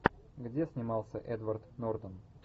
где снимался эдвард нортон